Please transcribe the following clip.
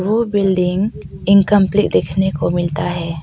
वो building incomplete दिकाने को मिलता है।